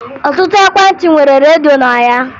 Ọtụtụ ekwentị nwere redio na ya